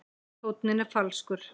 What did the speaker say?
Tónninn er falskur.